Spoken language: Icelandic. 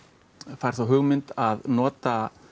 fær þá hugmynd að nota